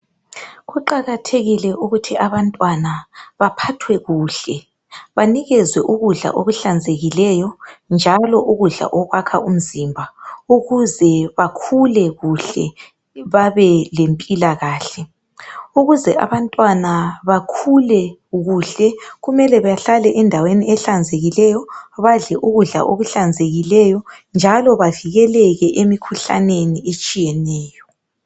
Kuqakathekile ukuthi abantwana baphathwe kuhle, banikezwe ukudla okuhlanzekileyo njalo ukudla okwakha umzimba ukuze bakhule kuhle babe lempilakahle. Ukuze abantwana bakhule kahle kumele bahlale endaweni ehlanzekileyo badle ukudla okuhlanzekileyo njalo bavikeleke emikhuhlaneni etshiyeneyo.